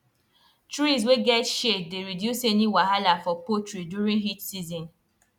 trees wey get shade dey reduce any wahala for poultry during heat season